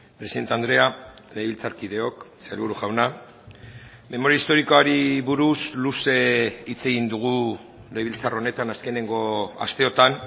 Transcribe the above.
presidente andrea legebiltzarkideok sailburu jauna memoria historikoari buruz luze hitz egin dugu legebiltzar honetan azkeneko asteotan